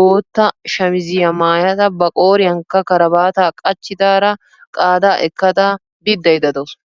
bootta shamizziya maayada ba qooriyankka karabaata qachchidaara qaadaa ekkada biddayda de'awusu.